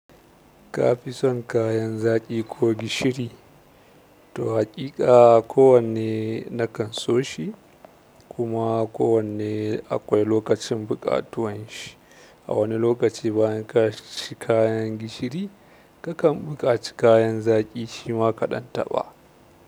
Kafi son kayan zaki ko gishiri? To hakika kowanne nakan so shi kuma kowanne akwai lokacin buƙatuwan shi. A wani lokaci bayan ka ci kayan gishiri, ka kan buƙaci kayan zaki shi ma kaɗan taɓa.